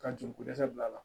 Ka joli ko dɛsɛ bila a la